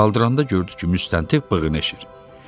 Qaldıranda gördü ki, müstəntiq bığını əşir.